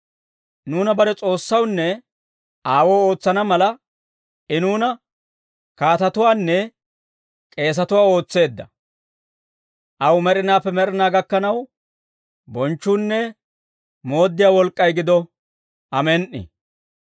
Nuuna bare S'oossawunne Aawoo ootsana mala, I nuuna kaatatuwaanne, k'eesatuwaa ootseedda; aw med'inaappe med'inaa gakkanaw, bonchchuunne mooddiyaa wolk'k'ay gido. Amen"i.